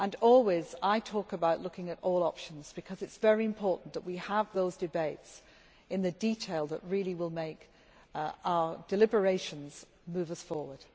Always, I talk about looking at all options because it is very important that we have those debates in the detail that really will make our deliberations move us forward.